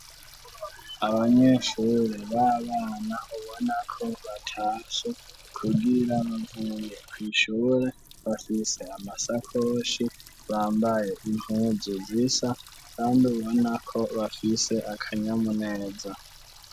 Abanyeshure babanena bubona ko batacu kugira vumye kwishobore bafise amasakonshi bambaye impuzu zisa banbi bubonako bafise akanyamuneza.